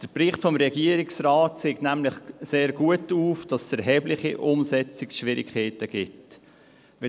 Der Bericht des Regierungsrats zeigt nämlich sehr gut auf, dass es erhebliche Umsetzungsschwierigkeiten geben würde.